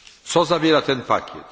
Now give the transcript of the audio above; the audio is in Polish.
Co zawiera ten pakiet?